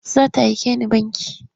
Za ta aike ni banki.